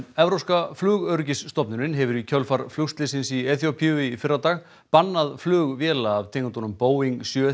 evrópska flugöryggisstofnunin hefur í kjölfar flugslyssins í Eþíópíu í fyrradag bannað flug véla af tegundum Boeing sjö